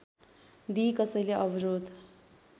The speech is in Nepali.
दिई कसैले अवरोध